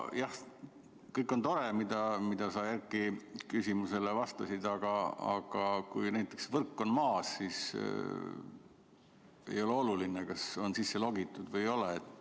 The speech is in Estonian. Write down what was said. Jah, kõik on tore, mida sa Erki küsimusele vastasid, aga kui näiteks võrk on maas, siis ei ole oluline, kas on sisse logitud või ei ole.